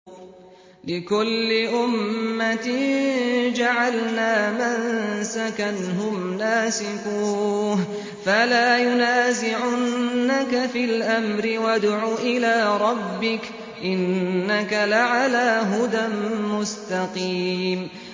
لِّكُلِّ أُمَّةٍ جَعَلْنَا مَنسَكًا هُمْ نَاسِكُوهُ ۖ فَلَا يُنَازِعُنَّكَ فِي الْأَمْرِ ۚ وَادْعُ إِلَىٰ رَبِّكَ ۖ إِنَّكَ لَعَلَىٰ هُدًى مُّسْتَقِيمٍ